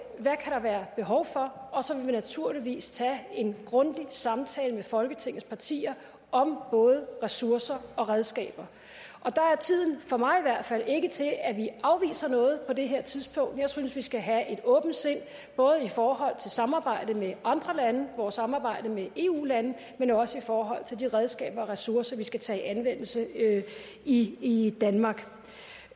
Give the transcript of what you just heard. være behov for og så vil vi naturligvis tage en grundig samtale med folketingets partier om både ressourcer og redskaber der er tiden for mig i hvert fald ikke til at vi afviser noget jeg synes vi skal have et åbent sind både i forhold til samarbejde med andre lande vores samarbejde med eu landene men også i forhold til de redskaber og ressourcer vi skal tage i anvendelse i i danmark